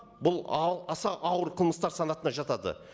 бұл аса ауыр қылмыстар санатына жатады